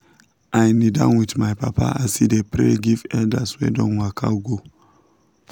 i knee down with my papa as he dey pray give elders wey don waka go.